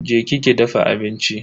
Je ki ki dafa abinci.